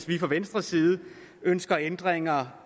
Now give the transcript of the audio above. vi fra venstres side ønsker ændringer